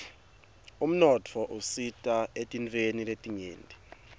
umnotfo usita etintfweni letinyenti